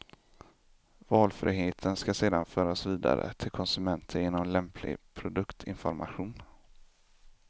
Valfriheten ska sedan föras vidare till konsumenten genom lämplig produktinformation.